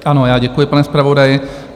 Ano, já děkuji, pane zpravodaji.